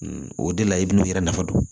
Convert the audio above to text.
O de la i bɛn'u yɛrɛ nafa dɔn